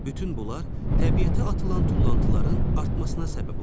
Bütün bunlar təbiətə atılan tullantıların artmasına səbəb olur.